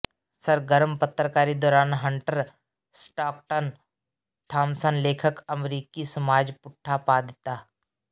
ਸਰਗਰਮ ਪੱਤਰਕਾਰੀ ਦੌਰਾਨ ਹੰਟਰ ਸਟਾਕਟਨ ਥਾਮਸਨ ਲੇਖਕ ਅਮਰੀਕੀ ਸਮਾਜ ਪੁੱਠਾ ਪਾ ਦਿੱਤਾ